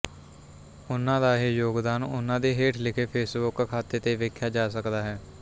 ਉਹਨਾਂ ਦਾ ਇਹ ਯੋਗਦਾਨ ਉਹਨਾ ਦੇ ਹੇਠ ਲਿਖੇ ਫੇਸਬੁੱਕ ਖਾਤੇ ਤੇ ਵੇਖਿਆ ਜਾ ਸਕਦਾ ਹੈ